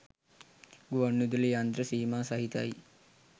ගුවන්විදුලි යන්ත්‍ර සීමා සහිතයි